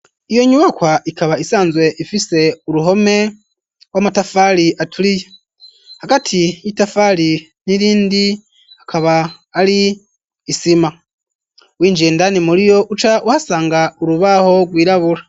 Iyo nyubakwa ikaba isanzwe ifise uruhome rw'amatafari aturiye. Hagati y'itafari n'irindi, hakaba ari isima. Winjiye indani muriyo, uca uhasanga urubaho rwirabura.